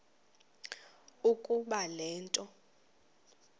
ukuba le nto